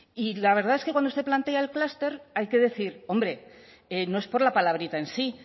y la verdad es que cuando usted plantea el clúster hay que decir hombre no es por la palabrita en sí